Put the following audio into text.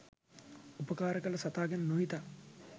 උපකාර කල සතා ගැන නොහිතා